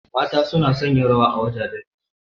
Mata suna son yin rawa a wajajen biki.